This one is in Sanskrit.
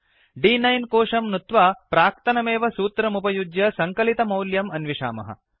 द्9 कोशं नुत्वा प्राक्तनमेव सूत्रमुपयुज्य सङ्कलितमौल्यम् अन्विषामः